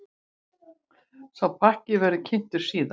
Sá pakki verði kynntur síðar.